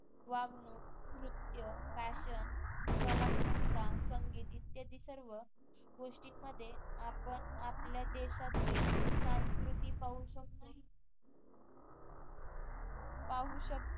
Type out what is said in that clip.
वागणूक, नृत्य, FASHION कलात्मकता, संगीत इत्यादी सर्व गोष्टींमध्ये आपण आपल्या देशातील संस्कृती पाहू शकतो पाहू शक